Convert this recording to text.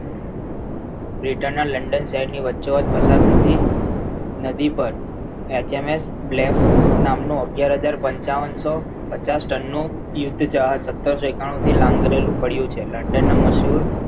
Britain ના London શહેરની વચ્ચે વચ પસાર થતી નદી પર એચએમએસ bless નામનો અગિયાર હજાર પન્ચાવનસો પચાસ ટનનું સત્તરસો ઈકોતેર થી લાંગરેલું પડ્યું છે london ના મસૂર